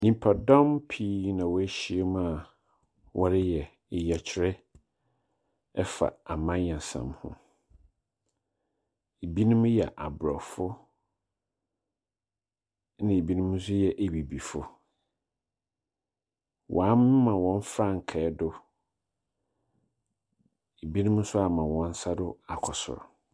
Nyimpadɔm pii na woehyia mu a wɔreyɛ yɛkyerɛ fa amanyɛsɛm ho, bino yɛ Aborɔfo na binom so yɛ Ebibifo. Wɔama hɔn frankaa do, binom so ama hɔn nsa do akɔ sor.